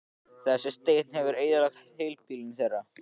Þessi teinn hefur eyðilagt híbýlin þeirra.